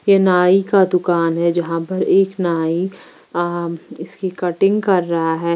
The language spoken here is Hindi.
ये नाई का दुकान है जहां पर एक नाई अं इसकी कटिंग कर रहा है।